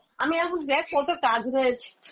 আমি এখন দেখ কত কাজ রয়েছে